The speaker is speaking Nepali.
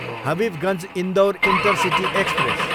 Habibganj, Indore intercity express